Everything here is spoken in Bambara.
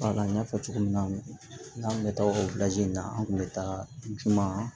Wala n y'a fɔ cogo min na n'an bɛ taa o in na an kun bɛ taa juman